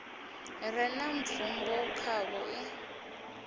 re na bvumo khavho i